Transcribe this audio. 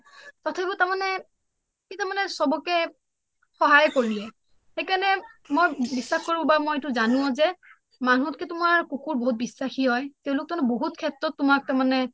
তথাপিও তাৰ মানে সি তাৰ মানে ছবকে সহায় কৰিলে সেইকাৰণে মই বিশ্বাস কৰো বা মই এইটো জানো যে মানুহ হত কে তোমাৰ কুকুৰ বহুত বিশ্বাসী হয় তেওঁ লোক তাৰ মানে বহুত ক্ষেত্ৰতো তোমাৰ তাৰ মানে